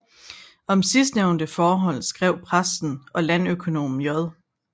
Om sidsnævnte forhold skrev præsten og landøkonomen J